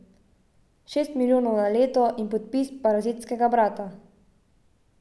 Šest milijonov na leto in podpis parazitskega brata?